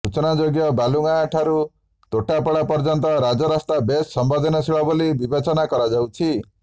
ସୂଚନା ଯୋଗ୍ୟ ବାଲୁଗାଁ ଠାରୁ ତୋଟାପଡ଼ା ପର୍ଯ୍ୟନ୍ତ ରାଜରାସ୍ତା ବେଶ୍ ସମ୍ବେଦଦନଶୀଳ ବୋଲି ବିବେଚନା କରାଯାଉଛି